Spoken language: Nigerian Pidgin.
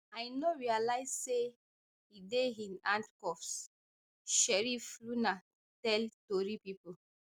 i no realise say e dey in handcuffs sheriff luna tell tori pipo